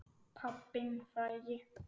Pabbinn frægi.